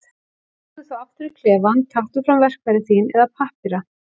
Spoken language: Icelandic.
Snúðu þá aftur í klefann, taktu fram verkfæri þín eða pappíra.